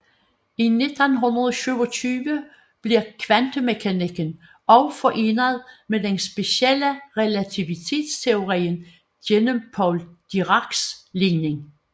I 1927 bliver kvantemekanikken også forenet med den specielle relativitetsteori gennem Paul Diracs ligning